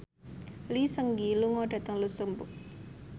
Lee Seung Gi lunga dhateng luxemburg